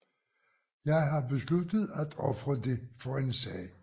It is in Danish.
Jeg har besluttet at ofre det for en sag